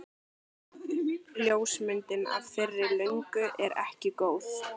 Ljósmyndin af þeirri löngu er ekki góð.